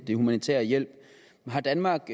den humanitære hjælp har danmark